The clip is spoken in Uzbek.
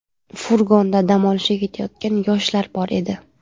Furgonda dam olishga ketayotgan yoshlar bor edi.